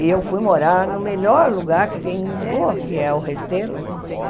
E eu fui morar no melhor lugar que tem em Lisboa, que é o Restelo.